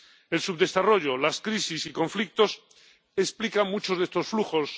El subdesarrollo, las crisis y conflictos explican muchos de estos flujos.